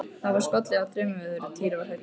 Það var skollið á þrumuveður og Týri var hræddur.